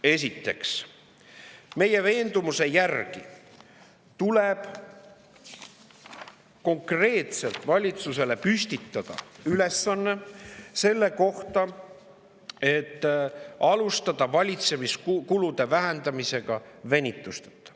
Esiteks, meie veendumuse järgi tuleb valitsusele konkreetselt püstitada ülesanne, et alustada valitsemiskulude vähendamist venitusteta.